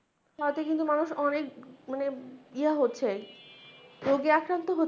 তাতে কিন্তু মানুষ অনেক মানে ইয়া হচ্ছে, রোগে আক্রান্ত হচ্ছে ।